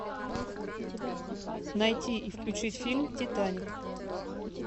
найти и включить фильм титаник